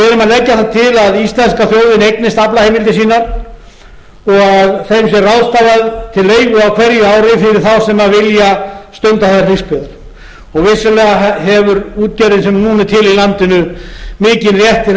að íslenska þjóðin eignist aflaheimildir sínar og þeim sé ráðstafað til leigu á hverju ári fyrir þá sem vilja stunda þær fiskveiðar vissulega hefur útgerðin sem núna er til í landinu mikinn rétt til þess að